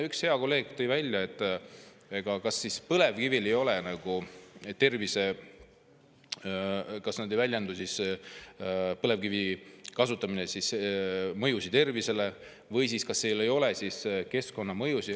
Üks hea kolleeg tõi siin välja põlevkivi kasutamise mõjud tervisele või selle, et kas siis seal ei ole keskkonnamõjusid.